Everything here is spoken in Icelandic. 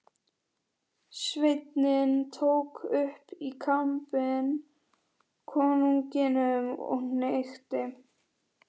Sveinninn tók upp í kampinn konunginum og hnykkti.